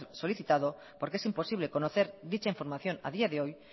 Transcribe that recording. solicitado porque es imposible conocer dicha información a día de hoy